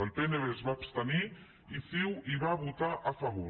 el pnb es va abstenir i ciu hi va votar a favor